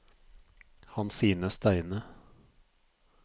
Hansine Steine